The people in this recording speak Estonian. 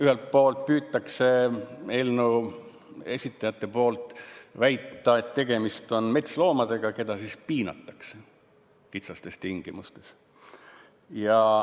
Ühelt poolt püüavad eelnõu esitajad väita, et tegemist on metsloomadega, keda piinatakse kitsastes tingimustes.